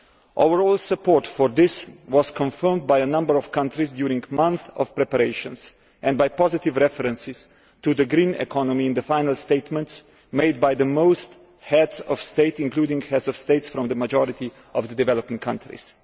Overall support for this was confirmed by a number of countries during months of preparations and by positive references to the green economy in the final statements made by most heads of state including heads of state from the majority of the developing countries.